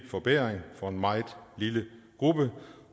forbedring for en meget lille gruppe